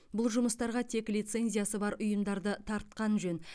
бұл жұмыстарға тек лицензиясы бар ұйымдарды тартқан жөн